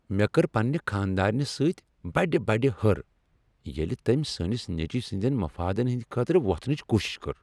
مےٚ کٔر پننہ خاندارنہ سۭتۍ بڑ بڑ ہر ییٚلہ تٔمۍ سٲنس نیٚچوۍ سٕندین مفادن ہندِ خٲطرٕ وۄتھنچ کوٗشش کٔر۔